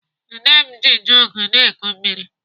Nne m ji jọgụ na-eku mmiri.